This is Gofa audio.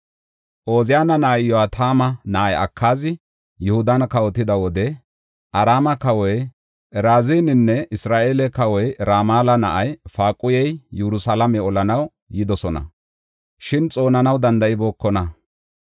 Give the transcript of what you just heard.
Ooziyana na7ay Iyo7atama na7ay Akaazi, Yihudan kawotida wode Araame kawoy Razininne Isra7eele kawoy Ramala na7ay Faaquhey Yerusalaame olanaw yidosona; shin xoonanaw danda7ibookona.